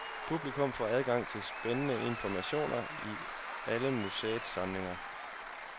Publikum får adgang til spændende informationer i alle museets samlinger.